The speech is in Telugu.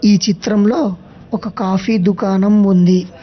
ఈ చిత్రంలో ఒక కాఫీ దుకాణం ఉంది.